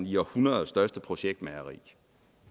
i århundredets største projektmageri